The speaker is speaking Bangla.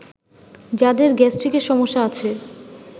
যাদের গ্যাস্ট্রিকের সমস্যা আছে